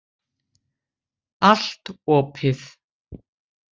Allt opið.